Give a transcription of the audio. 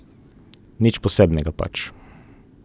Nič posebnega pač.